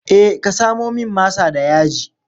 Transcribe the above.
Eh ka samo min masa da yaji.